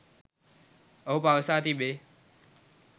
ඔහු පවසා තිබේ